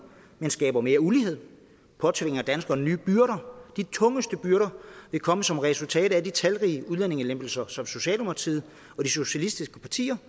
men skaber mere ulighed og påtvinger danskerne nye byrder de tungeste byrder vil komme som et resultat af de talrige udlændingelempelser som socialdemokratiet og de socialistiske partier